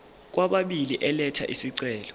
kwababili elatha isicelo